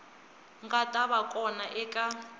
nga ta va kona eka